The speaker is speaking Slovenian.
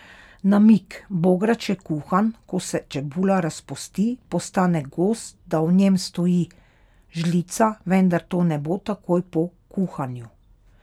Namig: 'Bograč je kuhan, ko se čebula razpusti, postane gost, da v njem stoji žlica, vendar to ne bo takoj po kuhanju.